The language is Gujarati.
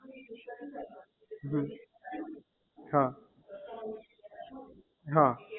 હમ હા હા